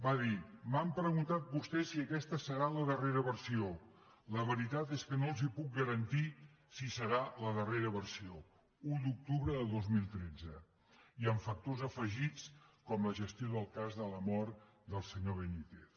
va dir m’han preguntat vostès si aquesta serà la darrera versió la veritat és que no els puc garantir si serà la darrera versió un d’octubre de dos mil tretze i amb factors afegits com la gestió del cas de la mort del senyor benítez